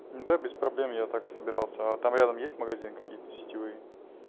да без проблем я так и собирался а там рядом есть магазин какие-то сетевые